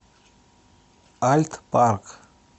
альт парк